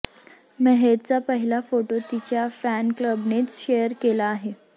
मेहरचा पहिला फोटो तिच्या फॅन क्लबनेच शेअर केला आहे